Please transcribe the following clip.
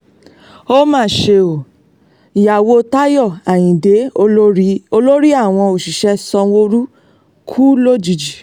ó mà ṣe o ìyàwó táyọ̀ ayíǹde olórí àwọn òṣìṣẹ́ sanwóoru kú lójijì